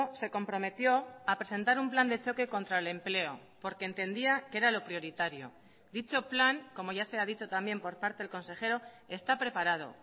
se comprometió a presentar un plan de choque contra el empleo porque entendía que era lo prioritario dicho plan como ya se ha dicho también por parte del consejero está preparado